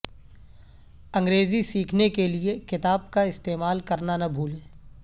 انگریزی سیکھنے کے لئے کتاب کا استعمال کرنا نہ بھولیں